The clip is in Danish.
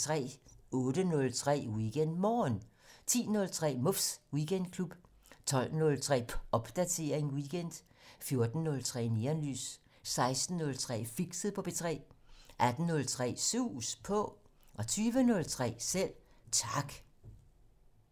08:03: WeekendMorgen 10:03: Muffs Weekendklub 12:03: Popdatering weekend 14:03: Neonlys 16:03: Fixet på P3 18:03: Sus På 20:03: Selv Tak